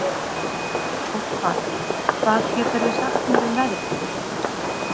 Ástvar, hvað geturðu sagt mér um veðrið?